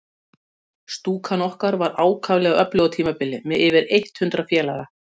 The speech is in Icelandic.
Stúkan okkar var ákaflega öflug á tímabili, með yfir eitt hundrað félaga.